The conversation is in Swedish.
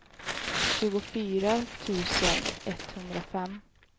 tjugofyra tusen etthundrafem